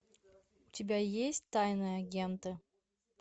у тебя есть тайные агенты